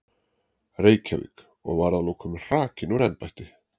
Reykjavík, og var að lokum hrakinn úr embætti.